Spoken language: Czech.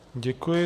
Děkuji.